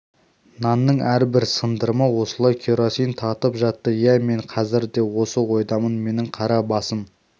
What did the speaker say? нанның әрбір сындырымы осылай керосин татып жатты иә мен қазір де осы ойдамын менің қара басым